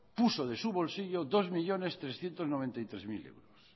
puso de su bolsillo dos millónes trescientos noventa y tres mil euros